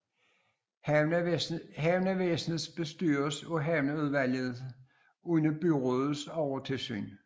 Havnevæsenet bestyredes af havneudvalget under byrådets overtilsyn